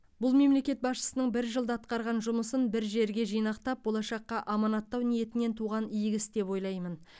бұл мемлекет басшысының бір жылда атқарған жұмысын бір жерге жинақтап болашаққа аманаттау ниетінен туған игі іс деп ойлаймын